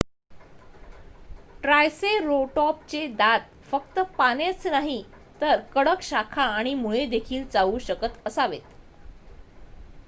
ट्रायसेरोटॉपचे दात फक्त पानेच नाहीत तर कडक शाखा आणि मुळेदेखील चावू शकत असावेत